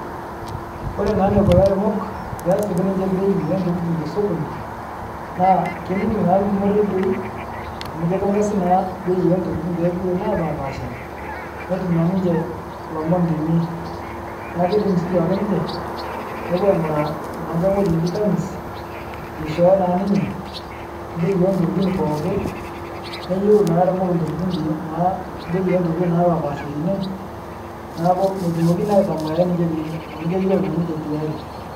Kore naa neko laremok pee esip ninche bei ee ntokitin te sokoni ,naa keining' naa lkumo redioi amu keitangasi naaa bei entokitin te redioi napapasha, netum naa ninche lomon teine. Naa keidim sii duake ninche nepuo ang'uraa naa nkae ng'goji neji kamis neishoyo naa ninye bei entokitin pooki, neyeu lairomok ntokitin teine naa bei entokitin naapashpasha teine. Naaku metumokini naa aitamayia ninche teine amuu keyuolo naa ninche tiyari.